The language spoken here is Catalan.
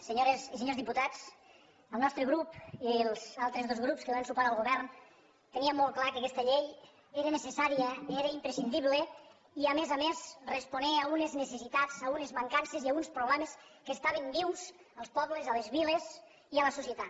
senyores i senyors diputats el nostre grup i els altres dos grups que donen suport al govern teníem molt clar que aquesta llei era necessària era imprescindible i a més a més responia a unes necessitats a unes mancances i a uns problemes que estaven vius als pobles a les viles i a la societat